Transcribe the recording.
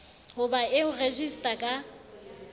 ho ba eo rejistra a